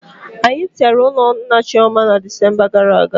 Anyi tere ụlọ nna Chioma na Desemba gara aga